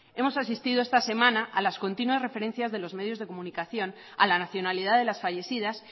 de año hemos asistido esta semana a las continuas referencias de los medios de comunicación a la nacionalidad de las fallecidas